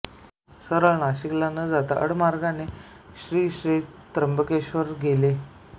सरळ नाशिकला न जाता आडमार्गाने श्री क्षेत्र त्र्यंबकेश्वरला गेले